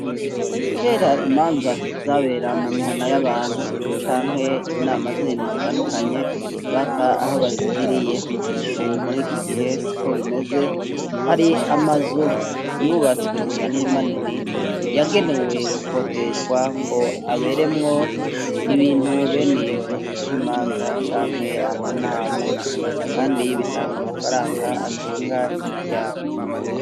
Kera imanza zabera mu mihana y'abantu canke inama zirindi zitandukanye bapfa aho bazigiriye, ubu muri iki gihe si ko bimeze hari amazu yubatswe manini manini yagenewe gukoteshwa ngo aberemwo ibintu bene ivyo nkimanza canke amanama, kandi bitanga amafaranga atunga imiryango.